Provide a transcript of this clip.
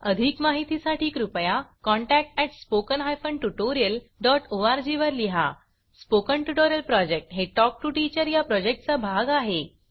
अधिक माहितीसाठी कृपया contact at spoken hyphen tutorial dot org वर लिहा स्पोकन ट्युटोरियल प्रॉजेक्ट हे टॉक टू टीचर या प्रॉजेक्टचा भाग आहे